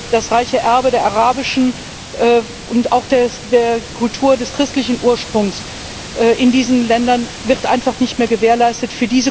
Das reiche Erbe der arabischen Kultur und auch der Kultur christlichen Ursprungs in diesen Ländern wird einfach nicht mehr gewährleistet.